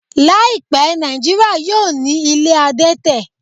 Láìpẹ́, Nàìjíríà yóò ní ilé adẹ́tẹ̀